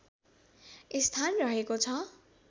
स्थान रहेको छ